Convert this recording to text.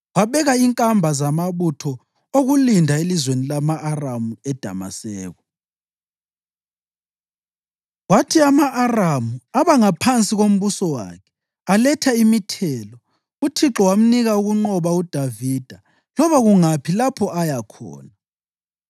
Wabeka inkamba zamabutho okulinda elizweni lama-Aramu eDamaseko, kwathi ama-Aramu aba ngaphansi kombuso wakhe aletha imithelo. UThixo wamnika ukunqoba uDavida loba kungaphi lapho aya khona.